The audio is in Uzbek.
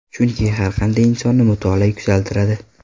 Chunki har qanday insonni mutolaa yuksaltiradi.